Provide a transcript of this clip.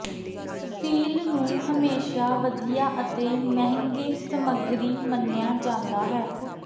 feel ਨੂੰ ਹਮੇਸ਼ਾ ਵਧੀਆ ਅਤੇ ਮਹਿੰਗੇ ਸਮਗਰੀ ਮੰਨਿਆ ਜਾਂਦਾ ਹੈ